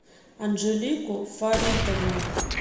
анжелику фаритовну